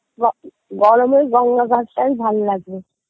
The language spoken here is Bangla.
গরমে গঙ্গা ঘাটটাই ভাল লাগে